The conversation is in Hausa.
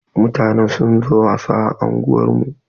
Mutanen sun zo wasa a unguwar mu.